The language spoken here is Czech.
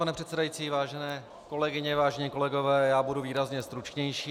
Pane předsedající, vážené kolegyně, vážení kolegové, já budu výrazně stručnější.